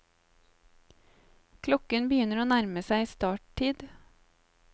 Klokken begynner å nærme seg starttid.